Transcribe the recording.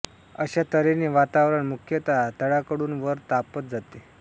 अशा तऱ्हेने वातावरण मुख्यतः तळाकडून वर तापत जाते